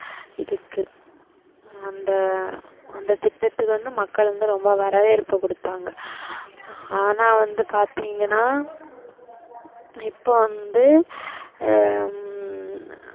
இதுக்கு அ~அந்த திட்டத்துக்கு வந்து மக்கள் வந்து ரொம்ப வரவேற்ப்பு குடுத்தாங்க. ஆனா வந்து பாத்திங்கனா இப்போ வந்து ஹம்